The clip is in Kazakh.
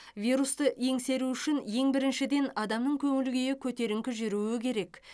вирусты еңсеру үшін ең біріншіден адамның көңіл күйі көтеріңкі жүруі керек